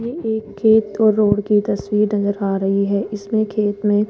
ये एक खेत और रोड की तस्वीर नजर आ रही है इसमें खेत में--